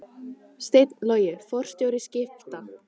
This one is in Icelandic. Steinn Logi forstjóri Skipta